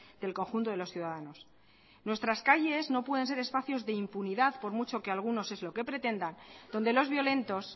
del conjunto de los ciudadanos nuestras calles no pueden ser espacios de impunidad por mucho que algunos es lo que pretendan donde los violentos